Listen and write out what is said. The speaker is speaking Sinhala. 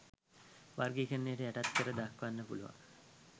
වර්ගීකරණයකට යටත් කර දක්වන්න පුළුවන්.